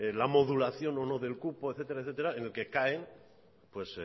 la modulación o no del cupo etcétera en el que caen pues